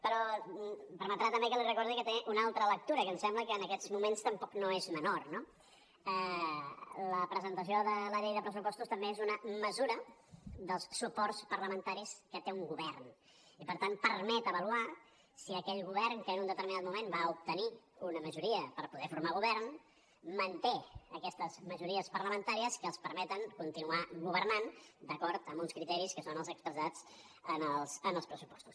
però em permetrà també que li recordi que té una altra lectura que em sembla que en aquests moments tampoc no és menor no la presentació de la llei de pressupostos també és una mesura dels suports parlamentaris que té un govern i per tant permet avaluar si aquell govern que en un determinat moment va obtenir una majoria per poder formar govern manté aquestes majories parlamentàries que els permeten continuar governant d’acord amb uns criteris que són els expressats en els pressupostos